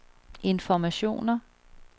informationer